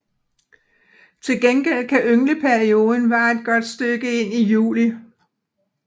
Til gengæld kan yngleperioden vare et godt stykke ind i juli